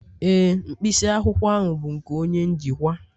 Ee, mkpịsị akwụkwọ ahụ bụ nke onye njikwa